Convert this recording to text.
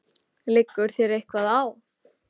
Liggur þér eitthvað á?